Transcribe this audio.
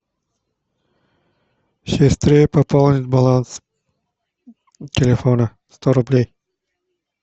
сестры пополнить баланс телефона сто рублей